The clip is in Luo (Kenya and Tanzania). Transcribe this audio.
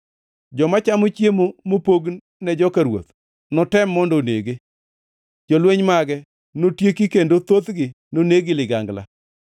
Joma chamo chiemo mopogne joka ruoth notem mondo onege; jolweny mage notieki kendo thothgi noneg gi ligangla.